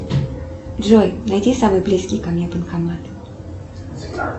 джой найди самый близкий ко мне банкомат